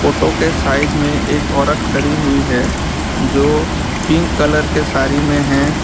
Photo के side में एक औरत खड़ी हुई है जो पिंक कलर के सारी में हैं।